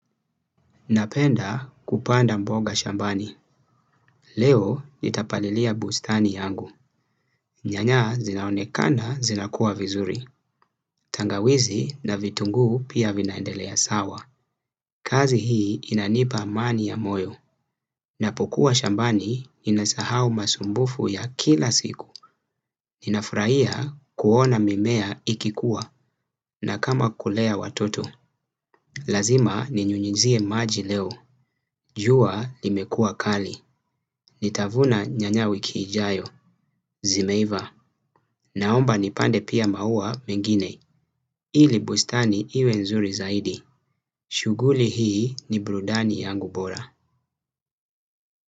Napenda kupanda mboga shambani. Leo nitapalilia bustani yangu. Nyanya zinaonekana zinakuwa vizuri. Tangawizi na vitunguu pia vinaendelea sawa. Kazi hii inanipa amani ya moyo. Napokuwa shambani inasahau masumbufu ya kila siku. Ninafurahia kuona mimea ikikuwa na kama kulea watoto. Lazima ni nyunyezie maji leo. Jua limekua kali. Nitavuna nyanya wiki ijayo. Zimeiva. Naomba nipande pia maua mengine. Ili bustani iwe nzuri zaidi. Shughuli hii ni burudani yangu bora.